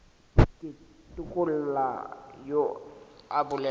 ke tukula yo a bolelago